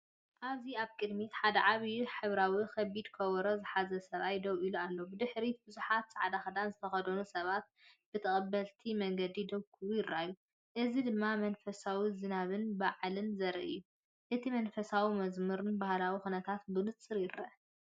ኣብዚ ኣብ ቅድሚት ሓደ ዓቢ ሕብራዊ ከቢድ ከበሮ ዝሓዘ ሰብኣይ ደው ኢሉ ኣሎ። ብድሕሪት ብዙሓት ጻዕዳ ክዳን ዝተኸድኑ ሰባት ብተቐባሊ መንገዲ ደው ክብሉ ይረኣዩ። እዚ ድማ መንፈስ ዝናብን በዓልን ዘርኢ እዩ። እቲ መንፈሳዊ መዝሙርን ባህላዊ ኵነታትን ብንጹር ይርአ።